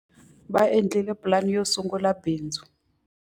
Va endlile pulani yo sungula bindzu.